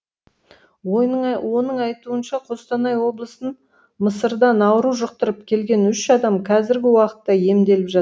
оның айтуынша қостанай облысын мысырдан ауру жұқтырып келген үш адам қазіргі уақытта емделіп жат